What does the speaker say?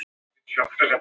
Brjálað veður í Eyjum